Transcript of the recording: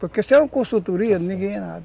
Porque sem uma consultoria, ninguém é nada, está certo.